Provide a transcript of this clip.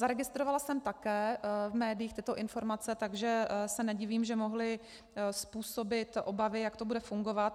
Zaregistrovala jsem také v médiích tyto informace, takže se nedivím, že mohly způsobit obavy, jak to bude fungovat.